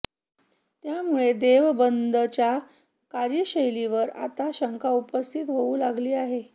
त्यामुळे देवबंदच्या कार्यशैलीवर आता शंका उपस्थित होऊ लागली आहे